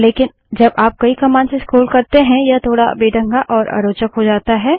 लेकिन जब आप कई कमांड्स से स्क्रोल करते हैं यह थोड़ बेढंगा और अरोचक हो जाता है